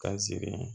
Ka sigi